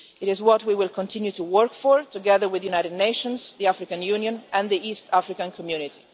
It is what we will continue to work for, together with the United Nations, the African Union and the East African Community.